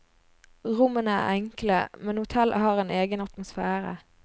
Rommene er enkle, men hotellet har en egen atmosfære.